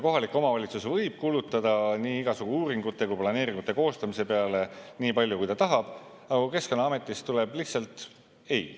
Kohalik omavalitsus võib kulutada nii igasugu uuringute kui ka planeeringute koostamise peale nii palju, kui ta tahab, aga Keskkonnaametist tuleb lihtsalt ei.